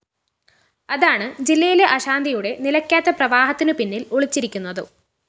അതാണ് ജില്ലയിലെ അശാന്തിയുടെ നിലക്കാത്ത പ്രവാഹത്തിനു പിന്നില്‍ ഒളിച്ചിരിക്കുന്നതും